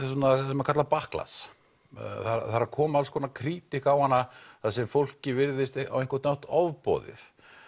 sem er kallað backlash það er að koma alls konar krítík á hana þar sem fólki virðist á einhvern hátt ofboðið